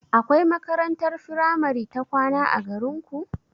Akwai makarantar firamare ta kwana a garinku?